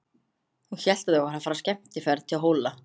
Hún hélt að þau væru að fara í skemmtiferð til Hóla.